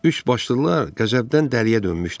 Üçbaşlılar qəzəbdən dəliyə dönmüşdülər.